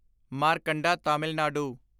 Markanda Tamil Nadu